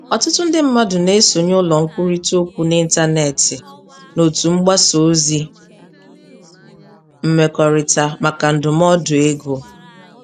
Ọtụtụ ndị mmadụ na-esonye ụlọ nkwurịta okwu n'ịntanetị na òtù mgbasa ozi mmekọrịta maka ndụmọdụ ego.